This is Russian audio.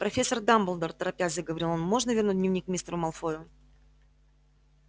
профессор дамблдор торопясь заговорил он можно вернуть дневник мистеру малфою